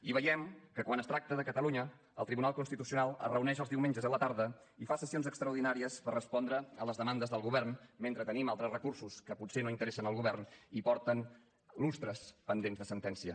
i veiem que quan es tracta de catalunya el tribunal constitucional es reuneix els diumenges a la tarda i fa sessions extraordinàries per respondre a les demandes del govern mentre tenim altres recursos que potser no interessen al govern i porten lustres pendents de sentència